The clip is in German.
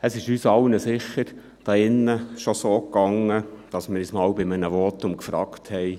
Uns allen hier erging es sicher schon so, dass wir uns bei einem Votum fragten: